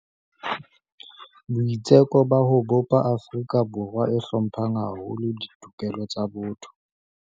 Boitseko ba ho bopa Afrika Borwa e hlomphang haholo ditokelo tsa botho